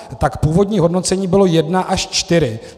Tak původní hodnocení bylo jedna až čtyři.